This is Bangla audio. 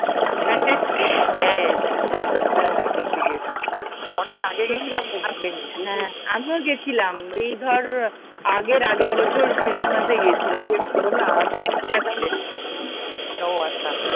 হ্যাঁ, হ্যাঁ হ্যাঁ গেছি গেছি অনেক আগে গেছিলাম তো মনে নেই বুঝলিতো, হ্যাঁ আমিও গেছিলাম এই ধর আগের আগের বছর ক্রিস্টমাস এ গেছিলাম শোন না ও আচ্ছা